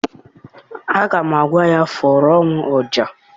Aga m agwa ya, fụọrọ m ọja!